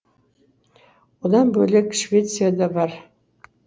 одан бөлек швеция да бар